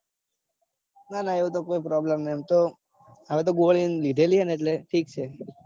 નાના એવું તો કઈ problem નઈ. એમ તો હવે યો ગોળી લીધેલી છે. ને એટલે ઠીક છે.